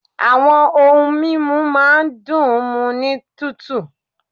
Àwọn ohun mímu máa ń dùn ún mu ní tútù